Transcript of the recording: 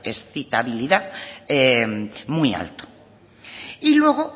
excitabilidad muy alto y luego